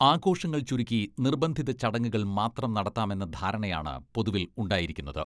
ആഘോഷങ്ങൾ ചുരുക്കി നിർബന്ധിത ചടങ്ങുകൾ മാത്രം നടത്താമെന്ന ധാരണയാണ് പൊതുവിൽ ഉണ്ടായിരിക്കുന്നത്.